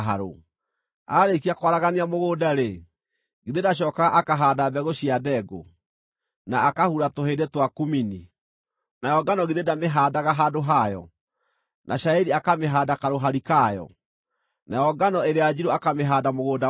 Aarĩkia kwaragania mũgũnda-rĩ, githĩ ndacookaga akahaanda mbegũ cia ndengũ, na akahura tũhĩndĩ twa kumini? Nayo ngano githĩ ndamĩhaandaga handũ hayo, na cairi akamĩhaanda karũhari kayo, nayo ngano ĩrĩa njirũ akamĩhaanda mũgũnda wayo?